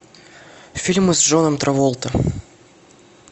фильмы с джоном траволта